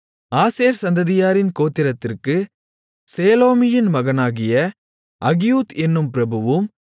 ஆசேர் சந்ததியாரின் கோத்திரத்திற்கு சேலோமியின் மகனாகிய அகியூத் என்னும் பிரபுவும்